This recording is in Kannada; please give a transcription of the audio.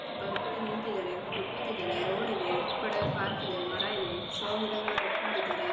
ಒಬ್ಬ ವ್ಯಕ್ತಿ ನಿಂತಿದ್ದಾರೆ ಒಬ್ರು ಕೂತಿದ್ದಾರೆ ರೊಡಿದೆ ಈ ಕಡೆ ಪಾರ್ಕ್ ಇದೆ ಮರ ಇದೆ ಶೊ ಗಿಡಗಳ್ನ ಕಟ್ ಮಾಡಿದ್ದಾರೆ .